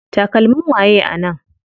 Takalmin waye a nan?